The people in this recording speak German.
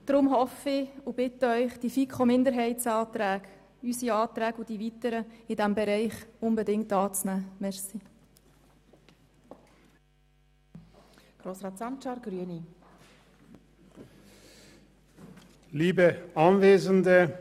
Deshalb hoffe ich und bitte ich Sie unbedingt, die Anträge der FiKo-Minderheit, unsere Anträge sowie die weiteren in diesem Bereich anzunehmen